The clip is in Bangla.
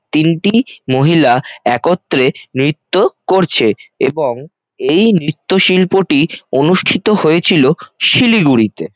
তিনটি মহিলা একত্রে নৃত্য করছে এবং এই নৃত্য শিল্পটি অনুষ্ঠিত হয়েছিল শিলিগুড়িতে।